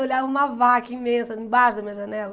Eu olhava uma vaca imensa embaixo da minha janela.